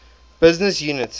business unit